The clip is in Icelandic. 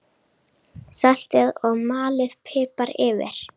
Saltið og malið pipar yfir.